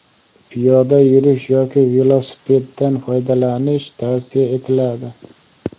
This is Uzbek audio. piyoda yurish yoki velosipeddan foydalanish tavsiya etiladi.